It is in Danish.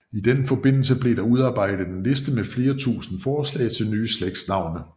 I den forbindelse blev der udarbejdet en liste med flere tusinde forslag til nye slægtsnavne